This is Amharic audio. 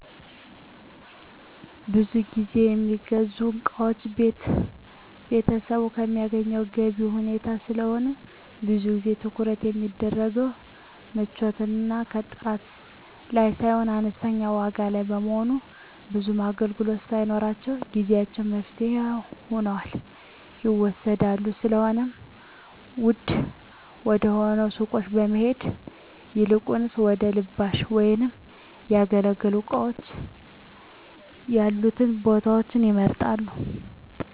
ብዙ ግዜ የሚገዙ እቃዎች ቤተሰቡ ከሚያገኘው ገቢ ሁኔታ ስለሆነ ብዙ ጊዜ ትኩረት የሚደረገው ምቾት እና ጥራት ላይ ሳይሆን አነስተኛ ዋጋ ላይ በመሆኑ ብዙም አገልግሎት ባይኖራቸውም ጊዜአዊ መፍትሄ ሁነው ይወሰዳሉ። ስለሆነም ውድ ወደሆነው ሱቆች ከመሄድ ይልቁንም ወደ ልባሽ ወይም ያገለገሉ እቃዎች ያሉበት ቦታዎችን ይመርጣሉ።